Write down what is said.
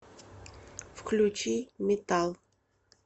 включи метал